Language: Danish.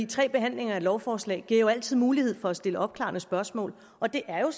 tre behandlinger af et lovforslag giver altid mulighed for at stille opklarende spørgsmål og det er jo